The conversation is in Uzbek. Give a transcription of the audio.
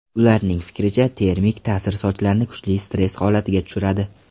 Ularning fikricha, termik ta’sir sochlarni kuchli stress holatiga tushiradi.